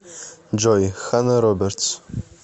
джой ханна робертс